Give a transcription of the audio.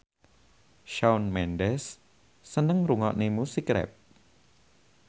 Shawn Mendes seneng ngrungokne musik rap